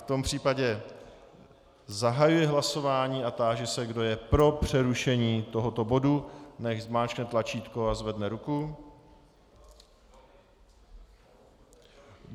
V tom případě zahajuji hlasování a táži se, kdo je pro přerušení tohoto bodu, nechť zmáčkne tlačítko a zvedne ruku.